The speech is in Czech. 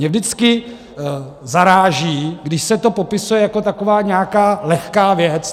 Mě vždycky zaráží, když se to popisuje jako taková nějaká lehká věc.